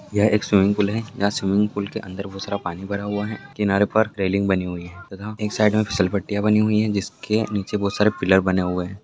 यह एक swimming pool हैं यहाँ स्विमिंग पूल के अंदर बहुत सारा पानी भरा हुआ हैं किनारो पर रेलिंग बनी हुई हैं तथा एक साइड में फ़िसलपट्टीया बनी हुई हैं जिसके नीचे बहुत सारे पिलर बने हुए--